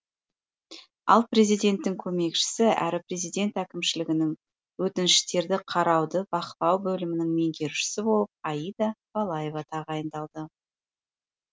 ал президенттің көмекшісі әрі президент әкімшілігінің өтініштерді қарауды бақылау бөлімінің меңгерушісі болып аида балаева тағайындалды